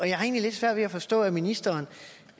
jeg har egentlig lidt svært ved at forstå at ministeren